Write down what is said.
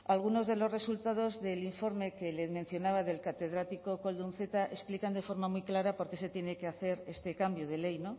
algunos de los resultados del informe que le mencionaba del catedrático koldo unceta explican de forma muy clara por qué se tiene que hacer este cambio de ley